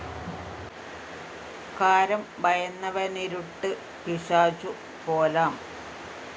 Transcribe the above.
കാരം ഭയന്നവനിരുട്ടു പിശാചു പോലാം